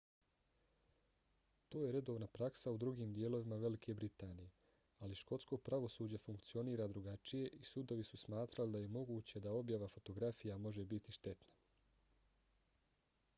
to je redovna praksa u drugim dijelovima velike britanije ali škotsko pravosuđe funkcionira drugačije i sudovi su smatrali da je moguće da objava fotografija može biti štetna